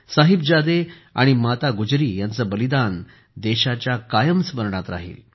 साहिबजादे आणि माता गुजरी यांचे बलिदान कायम देशाच्या स्मरणात राहिल